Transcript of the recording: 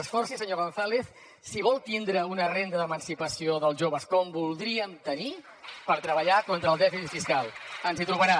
esforci’s senyor gonzález si vol tindre una renda d’emancipació dels joves com voldríem tenir per treballar contra el dèficit fiscal ens hi trobarà